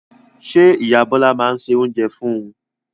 Ṣé ìyá Bọlá máa ń se oúnjẹ fún un?